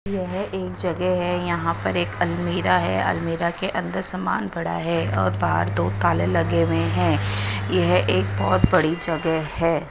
यह एक जगह है यहां पर अलमीरा है अलमीरा के अन्दर सामान पड़ा है और बाहर दो ताले लगे हुए है यह एक बहोत बड़ी जगह है।